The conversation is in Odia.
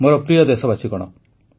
ମୋର ପ୍ରିୟ ଦେଶବାସୀଗଣ